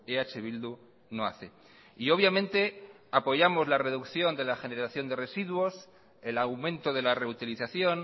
eh bildu no hace y obviamente apoyamos la reducción de la generación de residuos el aumento de la reutilización